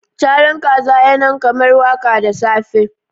Caran kaza ya nan kamar waka da safe